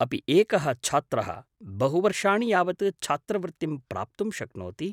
अपि एकः छात्रः बहुवर्षाणि यावत् छात्रवृत्तिं प्राप्तुं शक्नोति?